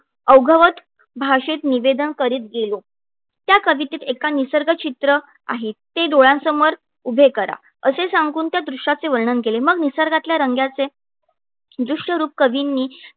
अवघवत भाषेत निवेदन करीत गेलो. त्या कवितेत एका निसर्गचित्र आहे. ते डोळ्यांसमोर उभे करा. असे सांगून त्या दृश्याचे वर्णन केले, मग निसर्गातल्या रंगाचे दृश्यरूप कवींनी